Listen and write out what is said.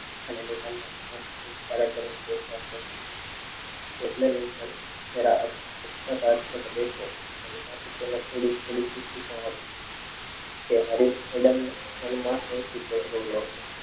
અને વિહાર ને આંખથી સારા કરીને બેસવા કહ્યું. તેને થોડી થોડી ખુશી પણ હતી.